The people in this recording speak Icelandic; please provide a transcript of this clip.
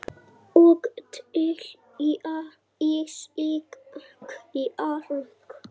Og telja í sig kjark.